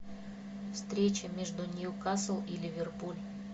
встреча между ньюкасл и ливерпуль